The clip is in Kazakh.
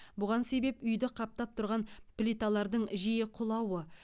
бұған себеп үйді қаптап тұрған плиталардың жиі құлауы